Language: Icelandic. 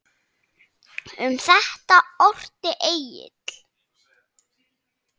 Um þetta orti Egill